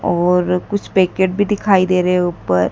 और कुछ पैकेट भी दिखाई दे रहे ऊपर--